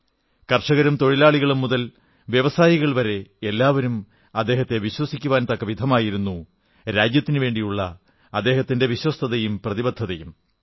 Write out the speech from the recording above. കർഷകരും തൊഴിലാളികളും മുതൽ വ്യവസായികൾ വരെ എല്ലാവരും അദ്ദേഹത്തെ വിശ്വസിക്കുവാൻ തക്കവിധമായിരുന്നു രാജ്യത്തിനുവേണ്ടിയുള്ള അദ്ദേഹത്തിന്റെ വിശ്വസ്തതയും പ്രതിബദ്ധതയും